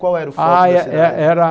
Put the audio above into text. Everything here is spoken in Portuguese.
Qual era o foco da cidade? Ai eh eh era